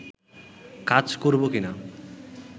কাজ করব কিনা